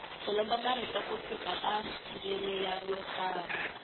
ku lomba marito ku suka ka ndzimi yo karhi